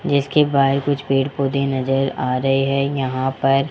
जिसके बाहर कुछ पेड़ पौधे नजर आ रहे हैं यहां पर--